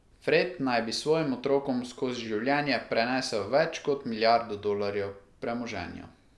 Fred naj bi svojim otrokom skozi življenje prenesel več kot milijardo dolarjev premoženja.